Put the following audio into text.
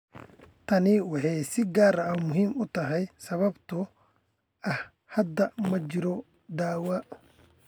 Tani waxay si gaar ah muhiim u tahay sababtoo ah hadda ma jiro dawo.